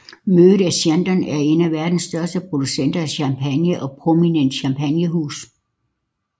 Moët et Chandon er en af verdens største producenter af champagne og et prominent champagnehus